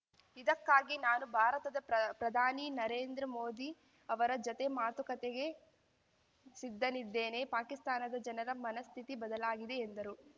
ಇದಕ್ಕಾಗಿ ನಾನು ಭಾರತದ ಪ್ರ ಪ್ರಧಾನಿ ನರೇಂದ್ರ ಮೋದಿ ಅವರ ಜತೆ ಮಾತುಕತೆಗೆ ಸಿದ್ಧನಿದ್ದೇನೆ ಪಾಕಿಸ್ತಾನದ ಜನರ ಮನಃಸ್ಥಿತಿ ಬದಲಾಗಿದೆ ಎಂದರು